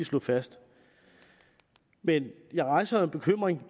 slå fast men jeg rejser en bekymring